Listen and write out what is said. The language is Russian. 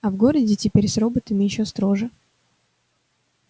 а в городе теперь с роботами ещё строже